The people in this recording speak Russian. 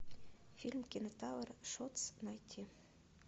фильм кинотавр шотс найти